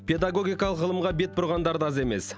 педагогикалық ғылымға бет бұрғандар да аз емес